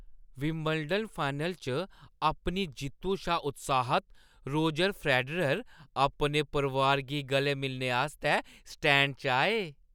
Wimbledon final च अपनी जित्तु शा उत्साहत रोजर फेडरर अपने परोआर गी गलेै मिलने आस्तै स्टैंड च आए।